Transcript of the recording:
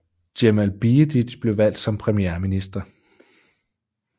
Džemal Bijedić blev valgt som premierminister